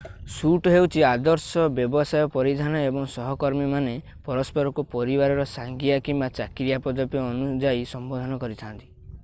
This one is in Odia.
ସୁଟ୍ ହେଉଛି ଆଦର୍ଶ ବ୍ୟବସାୟ ପରିଧାନ ଏବଂ ସହକର୍ମୀମାନେ ପରସ୍ପରକୁ ପରିବାରର ସାଙ୍ଗିଆ କିମ୍ବା ଚାକିରିର ପଦବୀ ଅନୁଯାୟୀ ସମ୍ବୋଧନ କରିଥାନ୍ତି